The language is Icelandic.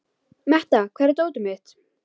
Metta, hvar er dótið mitt?